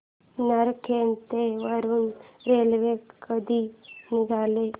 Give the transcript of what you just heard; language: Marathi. नरखेड ते वरुड रेल्वे कधी निघेल